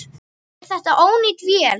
Er þetta ónýt vél?